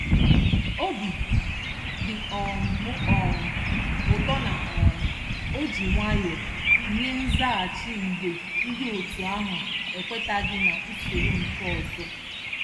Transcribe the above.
Obi dị um m um ụtọ na um o ji nwayọ nye nzaghachi mgbe ndị otu ahụ ekwetaghị n'usoro nke ọzọ.